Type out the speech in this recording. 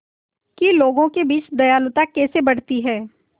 कि लोगों के बीच दयालुता कैसे बढ़ती है